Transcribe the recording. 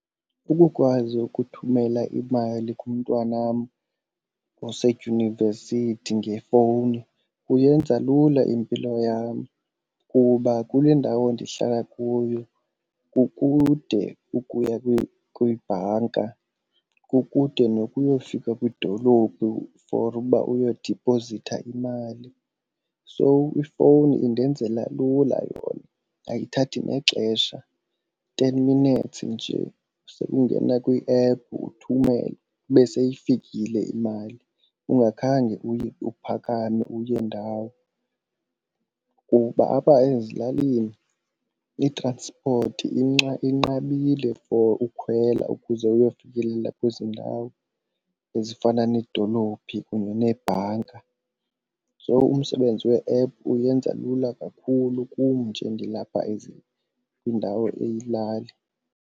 Ukukwazi ukuthumela imali kumntwanam osedyunivesithi ngefowuni kuyenza lula impilo yam kuba kule ndawo ndihlala kuyo kukude ukuya kwibhanka kukude nokuyofika kwidolophu for uba uyodiphozitha imali. So ifowuni indenzela lula yona ayithathi nexesha, ten minutes nje ukungena kwiephu uthumele, ibe seyifikile imali ungakhange uye uphakame uye ndawo. Kuba apha ezilalini i-transport inqabile for ukhwela ukuze uyofikelela kwezi ndawo ezifana needolophi kunye neebhanka. So umsebenzi we-ephu uyenza lula kakhulu kum nje ndilapha kwindawo eyilali.